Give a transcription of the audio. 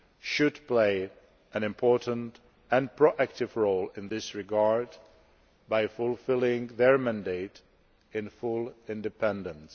should play an important and proactive role in this regard, by fulfilling their mandate in full independence.